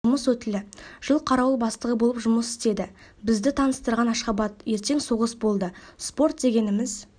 жұмыс өтілі жыл қарауыл бастығы болып жұмыс істеді бізді таныстырған ашхабад ертең соғыс болды спорт дегеніміз